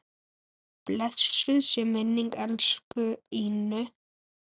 Blessuð sé minning elsku Ínu.